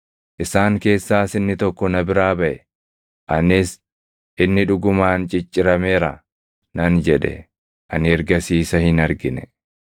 Isaan keessaas inni tokko na biraa baʼe; anis, “Inni dhugumaan ciccirameera” nan jedhe. Ani ergasii isa hin argine.